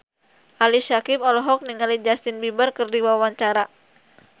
Ali Syakieb olohok ningali Justin Beiber keur diwawancara